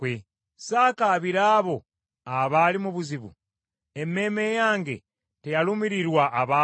Saakaabira abo abaali mu buzibu? Emmeeme yange teyalumirirwa abaavu?